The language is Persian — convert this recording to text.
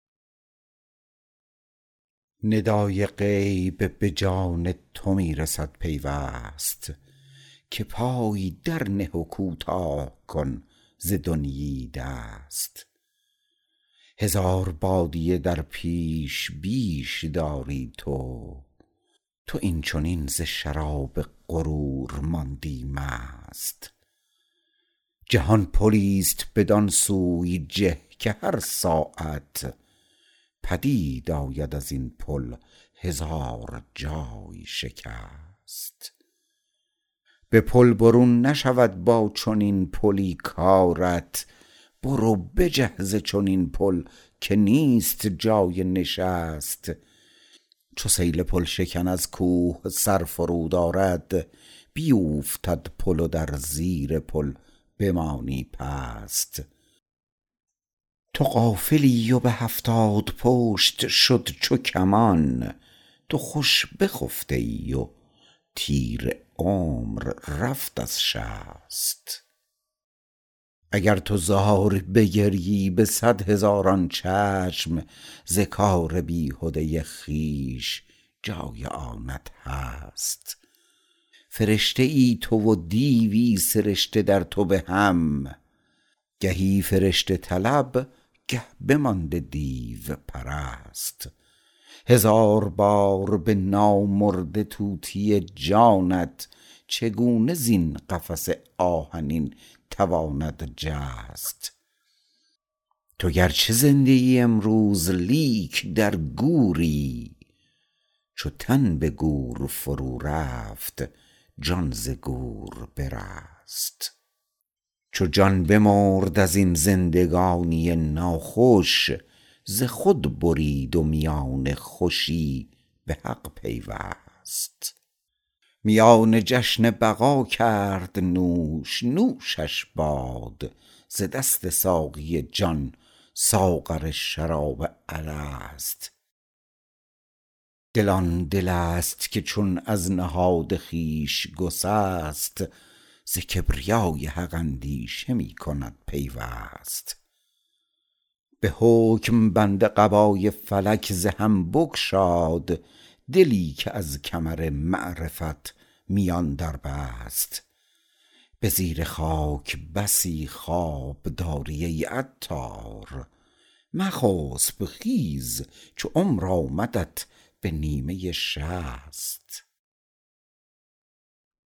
ندای غیب به جان تو می رسد پیوست که پای در نه و کوتاه کن ز دنیی دست هزار بادیه در پیش بیش داری تو تو این چنین ز شراب غرور ماندی مست جهان پلی است بدان سوی جه که هر ساعت پدید آید ازین پل هزار جای شکست به پل برون نشود با چنین پلی کارت برو بجه ز چنین پل که نیست جای نشست چو سیل پل شکن از کوه سر فرود آرد بیوفتد پل و در زیر پل بمانی پست تو غافلی و به هفتاد پشت شد چو کمان تو خوش بخفته ای و تیر عمر رفت از شست اگر تو زار بگریی به صد هزاران چشم ز کار بیهده خویش جای آنت هست فرشته ای تو و دیوی سرشته در تو به هم گهی فرشته طلب گه بمانده دیو پرست هزار بار به نامرده طوطی جانت چگونه زین قفس آهنین تواند جست تو گرچه زنده ای امروز لیک در گوری چو تن به گور فرو رفت جان ز گور برست چو جان بمرد از این زندگانی ناخوش ز خود برید و میان خوشی به حق پیوست میان جشن بقا کرد نوش نوشش باد ز دست ساقی جان ساغر شراب الست دل آن دل است که چون از نهاد خویش گسست ز کبریای حق اندیشه می کند پیوست به حکم بند قبای فلک ز هم بگشاد دلی که از کمر معرفت میان در بست به زیر خاک بسی خواب داری ای عطار مخسب خیز چو عمر آمدت به نیمه شصت